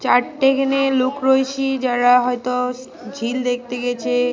চারটে এখনে লোক রয়েছি যারা হয়তো ঝিল দেখতে গেছে।